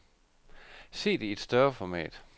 Se det i et større format.